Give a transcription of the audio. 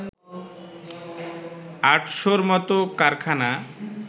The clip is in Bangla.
আটশোর মত কারখানা